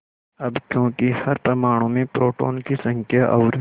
अब क्योंकि हर परमाणु में प्रोटोनों की संख्या और